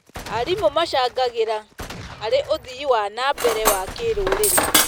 Arimũ macangagĩra harĩ ũthii wa na mbere wa kĩrũrĩrĩ.